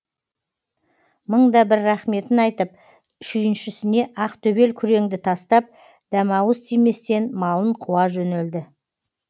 мың да бір рахметін айтып шүйіншісіне ақ төбел күреңді тастап дәмауыз тиместен малын қуа жөнелді